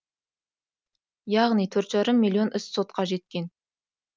яғни төрт жарым миллион іс сотқа жеткен